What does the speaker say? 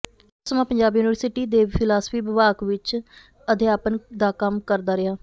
ਉਹ ਬਹੁਤਾ ਸਮਾਂ ਪੰਜਾਬ ਯੂਨੀਵਰਸਿਟੀ ਦੇ ਫ਼ਿਲਾਸਫ਼ੀ ਵਿਭਾਗ ਵਿੱਚ ਅਧਿਆਪਨ ਦਾ ਕੰਮ ਕਰਦਾ ਰਿਹਾ